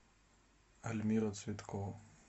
альмира цветкова